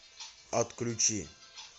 отключи